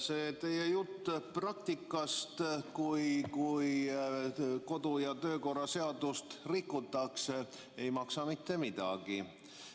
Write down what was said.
See teie jutt praktikast, kui kodu‑ ja töökorra seadust rikutakse, ei maksa mitte midagi.